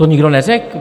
To nikdo neřekl.